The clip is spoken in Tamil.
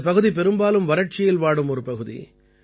இந்தப் பகுதி பெரும்பாலும் வறட்சியில் வாடும் ஒரு பகுதி